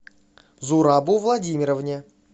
зурабу владимировне